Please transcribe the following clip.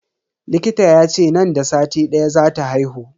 Likita yace nan da sati daya zata haihu.